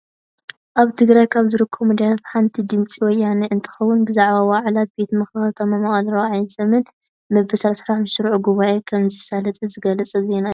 ኣብ ትግራይ ካብ ዝርከቡ ሚዳታት ሓንቲ ድምፂ ወያነ እንትከውን፣ ብዛዕባ ዋዕላ ቤት ምክሪ ከተማ መቐለ 4ይ ዘመን መበል 35 ስሩዕ ጉባኤኡ ከምዘሳለጠ ዝገልፅ ዜና እዩ።